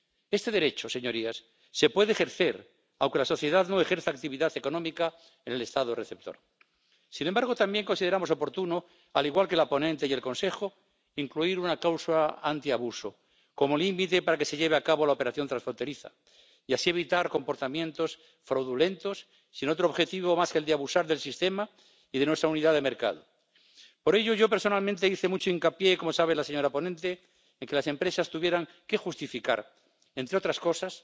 Este derecho, señorías, se puede ejercer aunque la sociedad no ejerza actividad económica en el Estado receptor. Sin embargo, también consideramos oportuno, al igual que la ponente y el Consejo, incluir una cláusula antiabuso como límite para que se lleve a cabo la operación transfronteriza y así, evitar comportamientos fraudulentos sin otro objetivo más que el de abusar del sistema y de nuestra unidad de mercado. Por ello, yo personalmente hice mucho hincapié, como sabe la señora ponente, en que las empresas tuvieran que justificar, entre otras cosas,